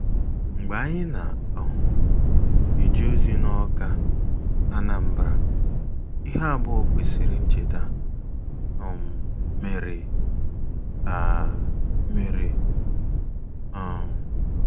Mgbe anyị na - um eje ozi na Awka, Anambra, ihe abụọ kwesịrị ncheta um mere um mere. um